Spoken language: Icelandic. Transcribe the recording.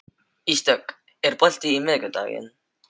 Ísdögg, er bolti á miðvikudaginn?